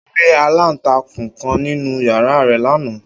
O ri alantakun kan ninu yara rẹ lana.